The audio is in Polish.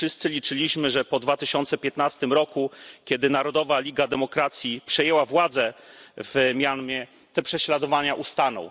Wszyscy liczyliśmy, że po 2015 roku, kiedy Narodowa Liga na rzecz Demokracji przejęła władzę w Mjanmie, te prześladowania ustaną.